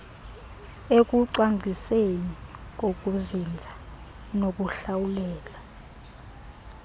ekucwangcisweni kokuzinza inokuhlawulela